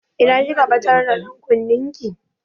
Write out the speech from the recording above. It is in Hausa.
Ina kika ɓatar da ɗankunnen ki?